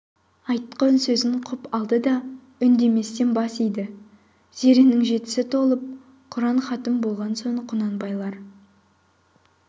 айтқан сөзін құп алды да үндеместен бас иді зеренің жетісі толып құран хатым болған соң құнанбайлар